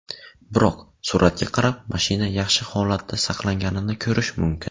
Biroq, suratga qarab, mashina yaxshi holatda saqlanganini ko‘rish mumkin.